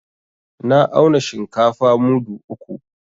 Na auna shinkafa mudu uku.